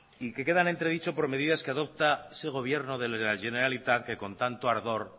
y que quedan en entredicho por medidas que adopta ese gobierno de la generalitat que con tanto ardor